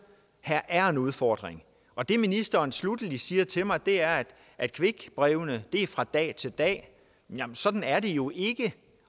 her er en udfordring og det ministeren sluttelig siger til mig er at quickbrevene er fra dag til dag jamen sådan er det jo ikke